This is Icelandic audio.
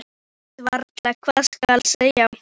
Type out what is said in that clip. Ég veit varla hvað skal segja.